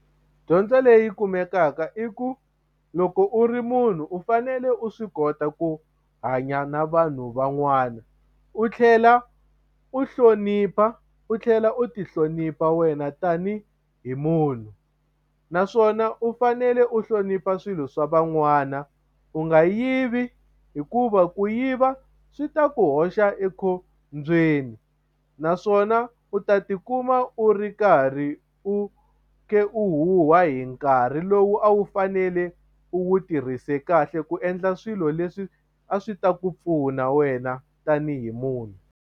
Dyondzo leyi kumekaka i ku loko u ri munhu u fanele u swi kota ku hanya na vanhu van'wana u tlhela u hlonipha u tlhela u ti hlonipha wena tani hi munhu naswona u fanele u hlonipha swilo swa van'wana u nga yivi hikuva ku yiva swi ta ku hoxa ekhombyeni naswona u ta tikuma u ri karhi u khe u huha hi nkarhi lowu a wu fanele u tirhise kahle ku endla swilo leswi a swi ta ku pfuna wena tanihi munhu.